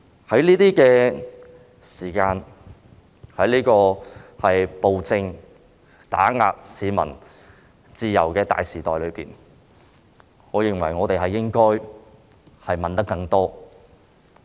在這個時間......在這個暴政打壓市民自由的大時代中，我認為我們應該問得更多。